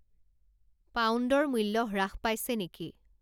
পাউণ্ডৰ মূল্য হ্ৰাস পাইছে নেকি